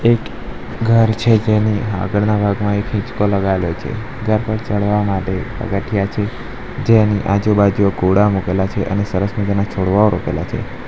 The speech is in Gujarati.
એક ઘર છે તેની આગળના ભાગમાં એક હિંચકો લગાયેલો છે ત્યાં કોઈ ચડવા માટે પગથિયાં છે જેની આજુબાજુ ઘોડા મુકેલા છે અને સરસ મજાના છોડવાઓ રોપેલા છે.